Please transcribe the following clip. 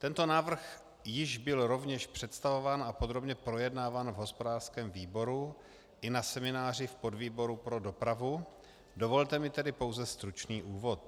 Tento návrh již byl rovněž představován a podrobně projednáván v hospodářském výboru i na semináři v podvýboru pro dopravu, dovolte mi tedy pouze stručný úvod.